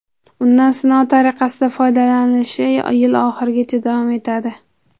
Undan sinov tariqasida foydalanilishi yil oxirigacha davom etadi.